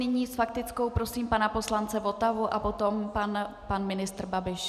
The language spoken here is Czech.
Nyní s faktickou prosím pana poslance Votavu a potom pan ministr Babiš.